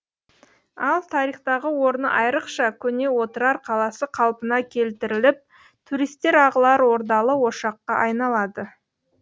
ал тарихтағы орны айрықша көне отырар қаласы қалпына келтіріліп туристер ағылар ордалы ошаққа айналады